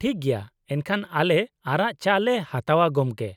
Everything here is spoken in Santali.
ᱴᱷᱤᱠ ᱜᱮᱭᱟ, ᱮᱱᱠᱷᱟᱱ ᱟᱞᱮ ᱟᱨᱟᱜ ᱪᱟ ᱞᱮ ᱦᱟᱛᱟᱣᱼᱟ, ᱜᱚᱝᱠᱮ᱾